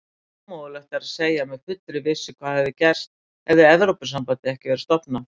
Ómögulegt er að segja með fullri vissu hvað hefði gerst hefði Evrópusambandið ekki verið stofnað.